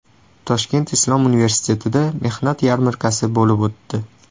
Toshkent islom universitetida mehnat yarmarkasi bo‘lib o‘tdi.